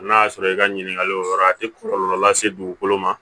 N'a y'a sɔrɔ i ka ɲininkali o yɔrɔ a tɛ kɔlɔlɔ lase dugukolo ma